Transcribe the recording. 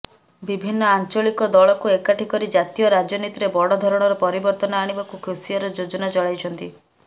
ବିଭିନ୍ନ ଆଞ୍ଚଳିକ ଦଳକୁ ଏକାଠି କରି ଜାତୀୟ ରାଜନୀତିରେ ବଡ ଧରଣର ପରିବର୍ତ୍ତନ ଆଣିବାକୁ କେସିଆର ଯୋଜନା ଚଳାଇଛନ୍ତି